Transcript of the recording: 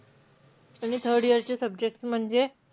आणि third year चे subjects म्हणजे,